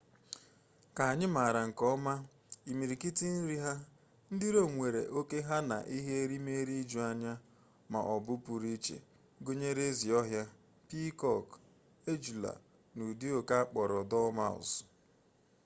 ka anyị maara nke ọma imirikiti nri ha ndị rom nwere oke ha na ihe erimeeri ijuanya ma ọ bụ pụrụ iche gụnyere ezi ọhịa piikọkụ ejula na ụdị oke akpọrọ dormouse